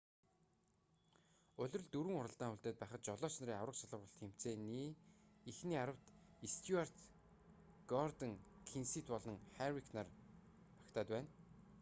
улиралд дөрвөн уралдаан үлдээд байхад жолооч нарын аварга шалгаруулах тэмцээний эхний аравт стьюарт гордон кенсет болон харвик нар багтаад байна